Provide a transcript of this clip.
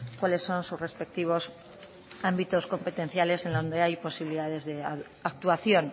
cuáles son sus respectivos ámbitos competenciales en donde hay posibilidades de actuación